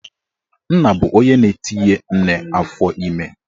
Nna bụ onye na-etinye nne afọime